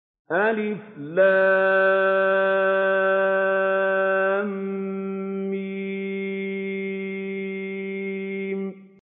الم